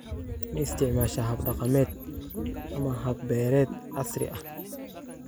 Ma isticmaashaa hab-dhaqameed ama hab-beereed casri ah?